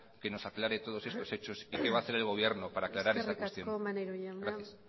que nos aclare todos estos hechos y qué va a hacer el gobierno para aclarar esta cuestión gracias eskerrik asko maneiro jauna